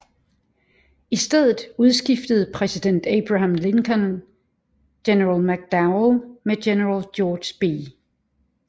I stedet udskiftede præsident Abraham Lincoln general McDowell med general George B